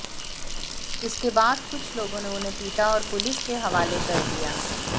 इसके बाद कुछ लोगों ने उन्हें पीटा और पुलिस के हवाले कर दिया